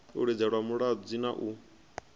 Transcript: u lidzelwa mulodzi na u